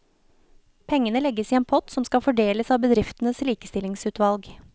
Pengene legges i en pott som skal fordeles av bedriftenes likestillingsutvalg.